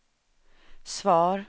svar